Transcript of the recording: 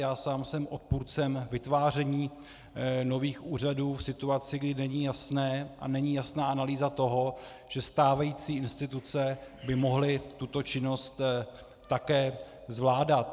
Já sám jsem odpůrcem vytváření nových úřadů v situaci, kdy není jasné a není jasná analýza toho, že stávající instituce by mohly tuto činnost také zvládat.